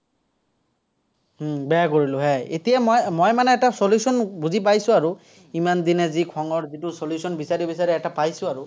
হম বেয়া কৰিলো, হয়। এতিয়া মই মানে এটা solution বুজি পাইছো আৰু, ইমানদিনে যি খঙৰ যিটো solution বিচাৰি বিচাৰি এটা পাইছো আৰু।